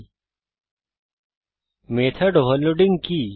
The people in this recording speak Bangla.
httpwwwspoken tutorialঅর্গ মেথড ওভারলোডিং কি